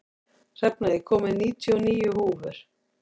Hrefna, ég kom með níutíu og níu húfur!